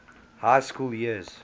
high school years